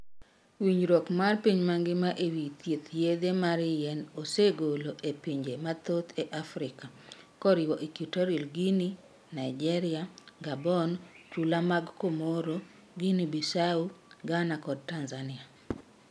Winjruok mar piny mangima ewi thieth Yedhe mar yien osegolo e pinje mathoth e Afrika, koriwo Equatorial Guinea, Niger, Gabon, chula mag Comoro, Guinea-Bissau, Ghana kod Tanzania.